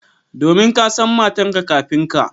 Domin ka san matarka kafin ka.